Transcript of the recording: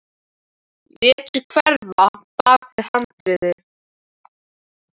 Lét sig hverfa bak við handriðið.